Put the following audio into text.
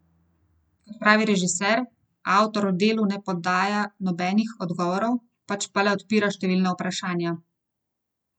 Kot pravi režiser, avtor v delu ne podaja nobenih odgovorov, pač pa le odpira številna vprašanja.